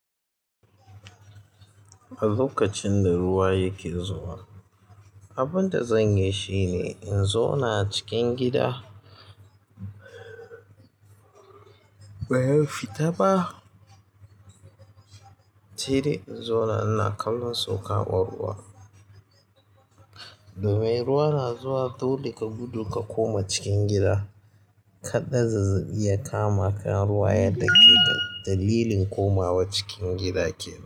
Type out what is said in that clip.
A lokacin da ruwa yake zuwa, abin da zanyi shine in zo na cikin gida. Bayan fita ba, sai dai in zo na ina kallon sokawon kama ruwa. Domin ruwa na zuwa dole ka gudu ka koma cikin gida, kada zazzaɓi ya kamaka ruwa ya dake ka. Dalilin komawa cikin gida kenan.